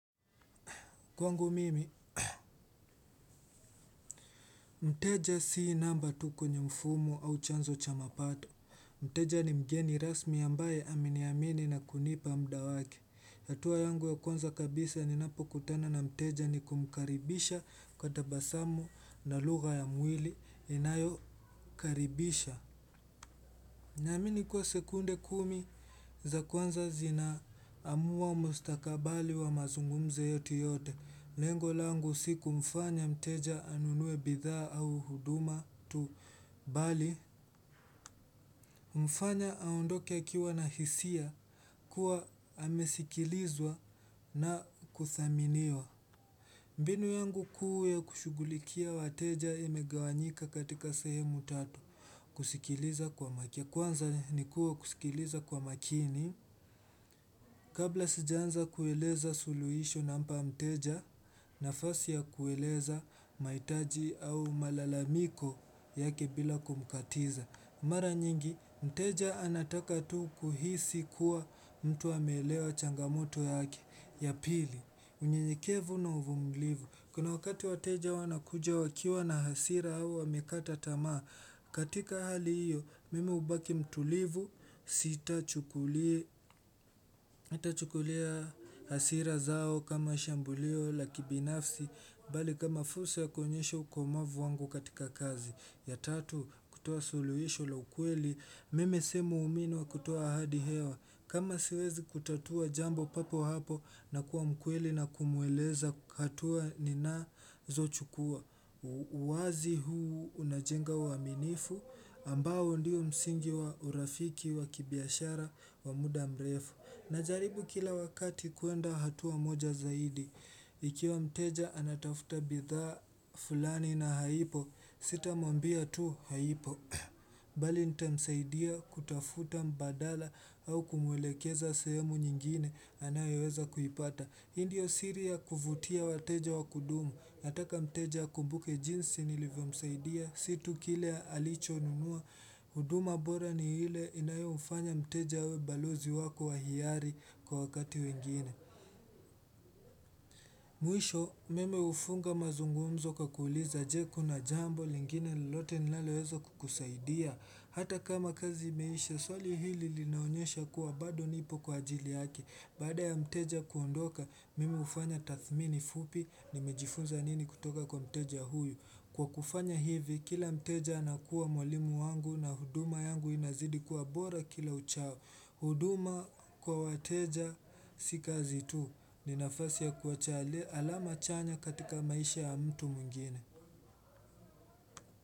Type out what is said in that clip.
Kwangu mimi, mteja si namba tu kwenye mfumo au chanzo cha mapato. Mteja ni mgeni rasmi ambaye ameniamini na kunipa mda wake. Hatua yangu ya kwanza kabisa ninapo kutana na mteja ni kumkaribisha kwa tabasamu na lugha ya mwili inayo karibisha. Naamini kuwa sekunde kumi za kwanza zinaamua mustakabali wa mazungumzo yetu yote. Lengo langu si kumfanya mteja anunue bidhaa au huduma tu, bali. Humfanya aondoke akiwa na hisia kuwa amesikilizwa na kuthaminiwa. Mbinu yangu kuu ya kushugulikia wateja imegawanyika katika sehemu tatu, kusikiliza kwa makini. Kwanza nikua kusikiliza kwa makini. Kabla sijaanza kueleza suluisho nampa mteja nafasi ya kueleza mahitaji au malalamiko yake bila kumkatiza. Mara nyingi mteja anataka tu kuhisi kuwa mtu amelewa changamoto yake. Ya pili, unyenyekevu na uvumilivu. Kuna wakati wateja wanakuja wakiwa na hasira au wamekata tamaa. Katika hali hiyo mimi hubaki mtulivu sitachukulia hasira zao kama shambulio la kibinafsi bali kama fursa ya kuonyesha ukomavu wangu katika kazi. Ya tatu, kutoa suluhisho la ukweli. Mimi si muumini wa kutoa ahadi hewa. Kama siwezi kutatua jambo papo hapo nakuwa mkweli na kumweleza hatua ninazochukua. Uwazi huu unajenga uaminifu ambao ndio msingi wa urafiki wa kibiashara wa muda mrefu. Najaribu kila wakati kuenda hatua moja zaidi. Ikiwa mteja anatafuta bidhaa fulani na haipo sitamwambia tu haipo bali nitamsaidia kutafuta mbadala au kumuwelekeza sehemu nyingine anayoweza kuipata. Hii ndio siri ya kuvutia wateja wakudumu, nataka mteja akumbuke jinsi nilivyo msaidia, si tu kile ya alichonunua, huduma bora ni ile inayomfanya mteja we balozi wako wa hiari kwa wakati wengine. Mwisho, mimi hufunga mazungumzo kwa kuuliza je, kuna jambo lingine lolote nilaleweza kukusaidia? Hata kama kazi imeisha, swali hili linaonyesha kuwa bado nipo kwa ajili yake. Baada ya mteja kuondoka, mimi hufanya tathmini fupi, nimejifunza nini kutoka kwa mteja huyu. Kwa kufanya hivi, kila mteja anakuwa mwalimu wangu na huduma yangu inazidi kuwa bora kila uchao. Huduma kwa wateja, si kazi tu. Ni nafasi ya kuacha alama chanya katika maisha ya mtu mwingine.